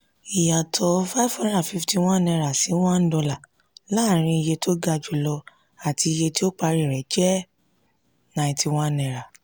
ìyàtọ̀ five hundred fifty one naira si one dollar láárin iye ó ga jùlọ àti iye ó parí jẹ́ ninety one naira